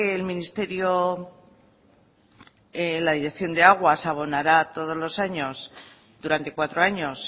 el ministerio la dirección de aguas abonará todos los años durante cuatro años